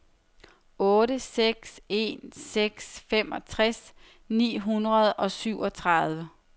otte seks en seks femogtres ni hundrede og syvogtredive